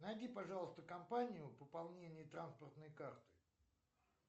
найди пожалуйста компанию пополнение транспортной карты